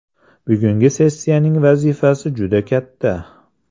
Bugungi sessiyaning vazifasi juda katta.